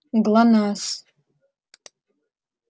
глонассс